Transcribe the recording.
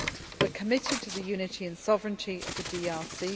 We are committed to the unity and sovereignty of the DRC.